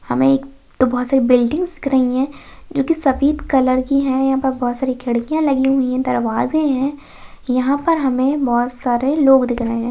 हमें एक बहुत सारी बिल्डिग दिख रही है जो सफेद कलर की है यहां पे बहुत सारी खिड़कियां लगी हुई है दरवाजे है यहां पर हमे बहुत सारे लोग दिख रहे है।